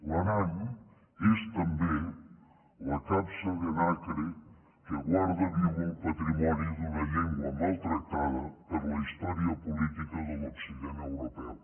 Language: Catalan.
l’aran és també la capsa de nacre que guarda viu el patrimoni d’una llengua maltractada per la històrica política de l’occident europeu